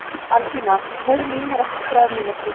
Albína, heyrðu í mér eftir þrjár mínútur.